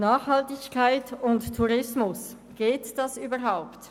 Nachhaltigkeit und Tourismus, geht das überhaupt?